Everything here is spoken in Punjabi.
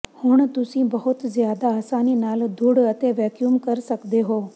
ਹੁਣ ਤੁਸੀਂ ਬਹੁਤ ਜ਼ਿਆਦਾ ਆਸਾਨੀ ਨਾਲ ਧੂੜ ਅਤੇ ਵੈਕਿਊਮ ਕਰ ਸਕਦੇ ਹੋ